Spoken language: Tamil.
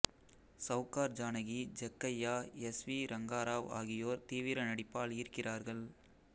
சௌகார் ஜானகி ஜக்கையா எஸ் வி ரங்க ராவ் ஆகியோர் தீவிர நடிப்பால் ஈர்க்கிறார்கள்